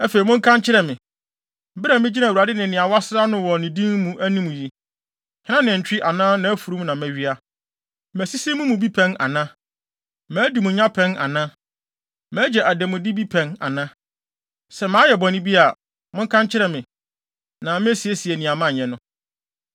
Afei, monka nkyerɛ me, bere a migyina Awurade ne nea wɔasra no wɔ ne din mu anim yi, hena nantwi anaa nʼafurum na mawia? Masisi mo mu bi pɛn ana? Madi mo nya pɛn ana? Magye adanmude bi pɛn ana? Sɛ mayɛ bɔne bi a, monka nkyerɛ me, na mesiesie nea manyɛ no.”